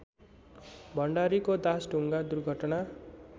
भण्डारीको दासढुङ्गा दुर्घटना